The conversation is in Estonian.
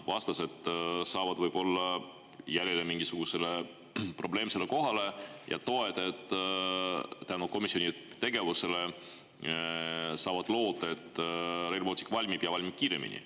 Vastased saavad võib-olla jälile mingisugusele probleemsele kohale ja toetajad saavad tänu komisjoni tegevusele loota, et Rail Baltic valmib ja valmib kiiremini.